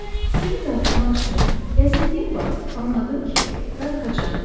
Fikrimi dağıtmaq üçün gəzindiyim vaxt anladım ki, darıxacam.